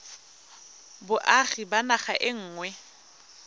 boagi ba naga e nngwe